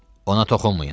Ona toxunmayın!